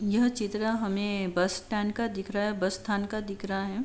यहा चित्र हमे बस स्टैन्ड का दिख रहा है बस स्थान का दिख रहा है।